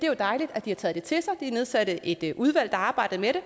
jo dejligt at de har taget det til sig de nedsatte et udvalg der arbejdede med det